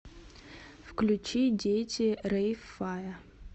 включи дети рейв фая